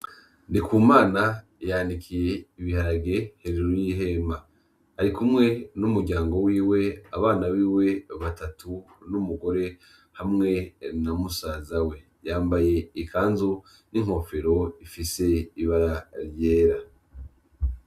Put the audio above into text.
Ndi ku mana yandikiye ibiharage hejuru y'ihema ari kumwe n'umuryango wiwe abana biwe batatu n'umugore hamwe na musaza we yambaye ikanzo n'inkofero ifise ibara ryera.